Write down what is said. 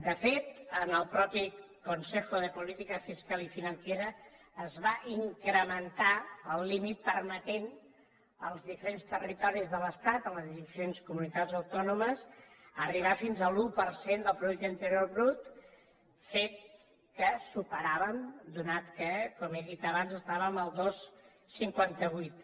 de fet en el mateix consejo de política fiscal y financiera es va incrementar el límit permetent als diferents territoris de l’estat a les diferents comunitats autònomes arribar fins a l’un per cent del producte interior brut fet que superàvem atès que com he dit abans estàvem al dos coma cinquanta vuit